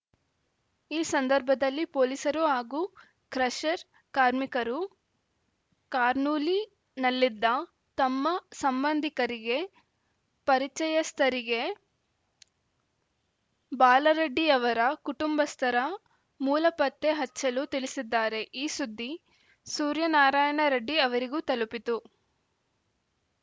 ಈ ಸಂದರ್ಭದಲ್ಲಿ ಪೊಲೀಸರು ಹಾಗೂ ಕ್ರಷರ್‌ ಕಾರ್ಮಿಕರು ಕರ್ನೂಲಿನಲ್ಲಿದ್ದ ತಮ್ಮ ಸಂಬಂಧಿಕರಿಗೆ ಪರಿಚಯಸ್ಥರಿಗೆ ಬಾಲರೆಡ್ಡಿಯವರ ಕುಟುಂಬಸ್ಥರ ಮೂಲ ಪತ್ತೆ ಹಚ್ಚಲು ತಿಳಿಸಿದ್ದಾರೆ ಈ ಸುದ್ದಿ ಸೂರ್ಯನಾರಾಯಣರೆಡ್ಡಿ ಅವರಿಗೂ ತಲುಪಿತು